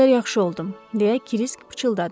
Bir qədər yaxşı oldum, deyə Kirisk pıçıldadı.